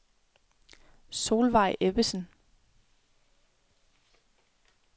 Solveig Ebbesen